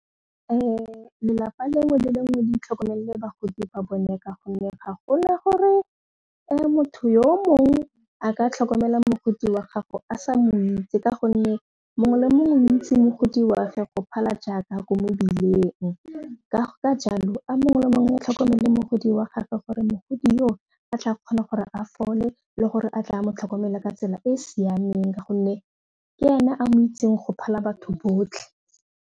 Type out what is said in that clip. Lelapa lengwe le lengwe le itlhokomelele bagodi ba bone ka gonne ga gona gore motho yo mongwe a ka tlhokomela mogodi wa gago a sa mo itse ka gonne mongwe le mongwe o itsi mogodi wa ge go phala jaaka ko mebileng ka jalo a mongwe le mongwe wa tlhokomele mogodi wa gagwe gore mogodi o tla kgona gore a fole le gore a tla a mo tlhokomele ka tsela e e siameng ka gonne ke ena a mo itseng go phala batho botlhe.